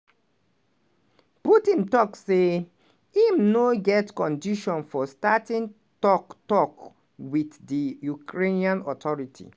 putin tok say im no get conditions for starting tok-tok wit di ukrainian authorities.